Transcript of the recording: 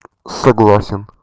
согласен